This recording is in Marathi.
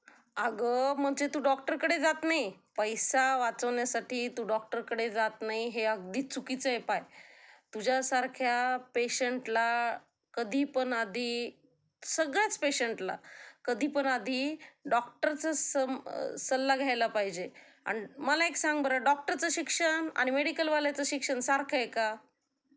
अगं म्हणजे तू डॉक्टरकडे जात नाही. पैसा वाचवण्यासाठी तू डॉक्टरकडे जात नाही हे अगदी चुकीचं हाय पाह्य. तुझ्यासारख्या पेशंटला कधीपण आधी सगळ्याच पेशंटला कधी पण आधी डॉक्टरचा सल्ला घ्यायला पाहिजे. आणि मला एक सांग बर, डॉक्टरचं शिक्षण आणि मेडीकलवाल्याचे शिक्षण सारखं आहे का ?